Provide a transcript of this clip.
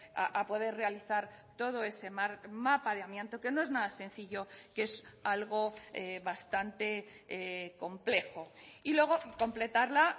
a poder realizar todo ese mapa de amianto que no es nada sencillo que es algo bastante complejo y luego completarla